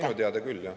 Minu teada küll, jah.